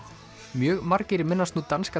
mjög margir minnast nú danska